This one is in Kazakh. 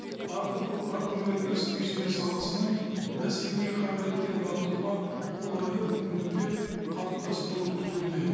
ы агроөнеркәсіп кешені саласының бәсекеге қабілеттігін арттыруға қолайлы мүмкіндіктер қалыптастыруы күтілуде